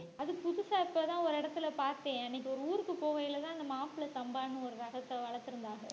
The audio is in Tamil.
அது புதுசா இப்பதான் ஒரு இடத்துல பார்த்தேன் அன்னைக்கு ஒரு ஊருக்கு போகயிலதான் அந்த மாப்பிளை சம்பான்னு ஒரு ரகத்தை வளர்த்திருந்தாங்க